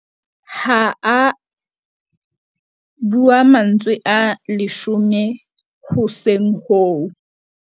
Ha a bua mantswe a leshome hoseng hoo.